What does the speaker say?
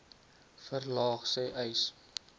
verlaag sê uys